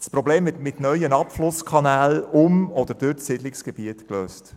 Das Problem wird mit neuen Abflusskanälen um oder durch das Siedlungsgebiet gelöst.